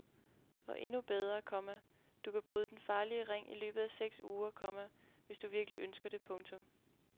Og endnu bedre, komma du kan bryde den farlige ring i løbet af seks uger, komma hvis du virkelig ønsker det. punktum